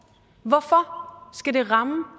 hvorfor skal det ramme